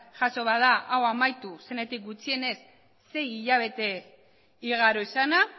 jaso bada hau amaitu zenetik gutxienez sei hilabete igaro izana